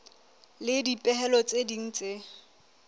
le dipehelo tse ding tse